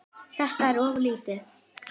Þetta er of lítið.